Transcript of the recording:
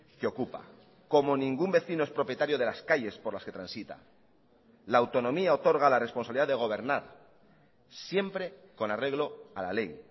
que ocupa como ningún vecino es propietario de las calles por las que transita la autonomía otorga la responsabilidad de gobernar siempre con arreglo a la ley